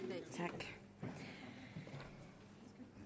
tak for